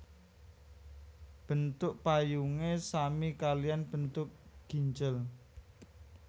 Bentuk payungé sami kaliyan bentuk ginjel